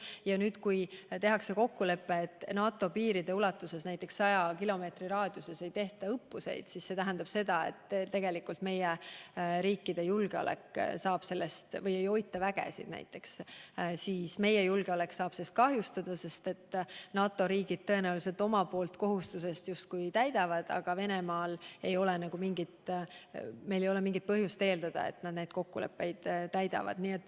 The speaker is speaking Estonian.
Kui nüüd lepitakse kokku, et NATO piiride ulatuses näiteks 100 kilomeetri raadiuses ei tehta õppuseid või ei hoita vägesid, siis see tähendab seda, et tegelikult meie riikide julgeolek saab kahjustada, sest NATO riigid tõenäoliselt oma kohustusi justkui täidavad, aga meil ei ole mingit põhjust eeldada, et ka Venemaa neid kokkuleppeid täidab.